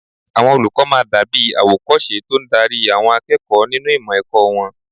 Àwọn olùkọ́ máa dàbí àwòkọ́ṣe tó ń darí àwọn akẹ́kọ̀ọ́ nínú ìmọ̀ ẹ̀kọ́ wọn